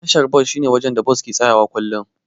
Tashar bas shine wajen da Bas take tsayawa kullum.